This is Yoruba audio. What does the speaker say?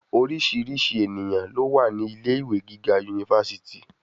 Oríṣìíríṣìí ènìyàn ló wà ní ilé-iwe giga yunifásítì.